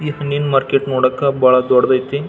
ಈ ಹಣ್ಣಿನ್ ಮಾರ್ಕೆಟ್ ನೋಡಕ್ ಬಹಳ್ ದೊಡ್ಡದ್ ಆಯ್ತಿ .